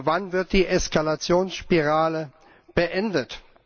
Wann wird die Eskalationsspirale beendet?